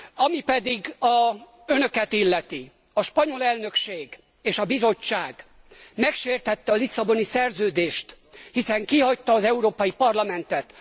Ami pedig Önöket illeti a spanyol elnökség és a Bizottság megsértette a Lisszaboni Szerződést, hiszen kihagyta az Európai Parlamentet!